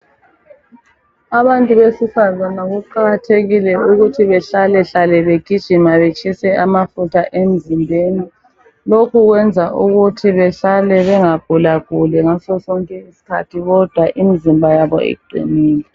Abantu besifazana kuqakathekile ukuthi behlalehlale begijima batshise amafutha emzimbeni. Lokhu kwenza ukuthi behlale bengagulaguli ngaso sonke isikhathi kodwa imizimba yabo iqinile.